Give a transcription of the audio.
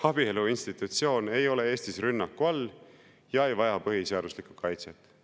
Abielu institutsioon ei ole Eestis rünnaku all ja ei vaja põhiseaduslikku kaitset.